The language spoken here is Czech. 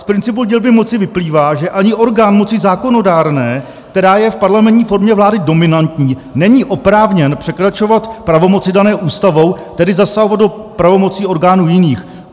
Z principu dělby moci vyplývá, že ani orgán moci zákonodárné, která je v parlamentní formě vlády dominantní, není oprávněn překračovat pravomoci dané Ústavou, tedy zasahovat do pravomocí orgánů jiných.